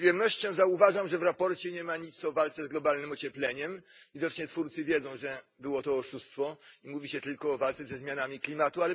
Z przyjemnością zauważam, że w sprawozdaniu nie ma nic o walce z globalnym ociepleniem widocznie twórcy wiedzą, że było to oszustwo mówi się tylko o walce ze zmianami klimatu.